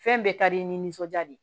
Fɛn bɛɛ ka di i nisɔndiya de